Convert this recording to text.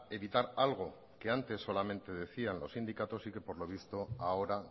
evitar algo que antes solamente decían los sindicatos y que por lo visto ahora